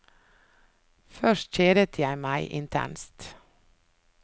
Først kjedet jeg meg, intenst.